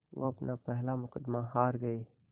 वो अपना पहला मुक़दमा हार गए